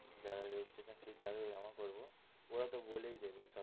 যারা registration fees যাদের কে জমা করবো ওরা তো বলেই দেবে।